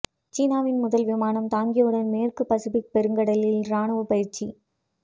சீனாவின் முதல் விமானம் தாங்கியுடன் மேற்கு பசிபிக் பெருங்கடலில் ராணுவ பயிற்சி